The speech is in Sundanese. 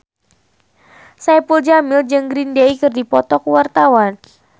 Saipul Jamil jeung Green Day keur dipoto ku wartawan